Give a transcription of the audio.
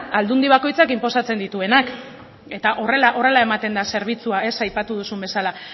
aldundi bakoitzak inposatzen dituenak eta horrela ematen da zerbitzua aipatu duzun bezala